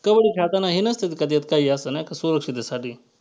कबड्डी खेळताना हे नसतं का त्यात काही असतं नाही का सुरक्षिततेसाठी?